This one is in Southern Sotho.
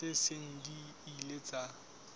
tse seng di ile tsa